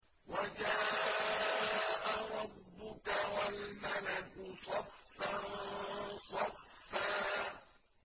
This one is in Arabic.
وَجَاءَ رَبُّكَ وَالْمَلَكُ صَفًّا صَفًّا